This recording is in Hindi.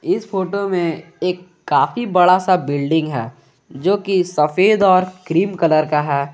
इस फोटो में एक काफी बड़ा सा बिल्डिंग है जोकि सफेद और क्रीम कलर का है।